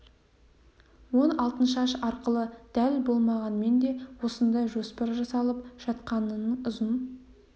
ол алтыншаш арқылы дәл болмағанмен де осындай жоспар жасалып жатқанының ұзын